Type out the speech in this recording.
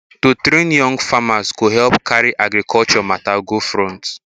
to train young farmers go help carry agriculture matter go front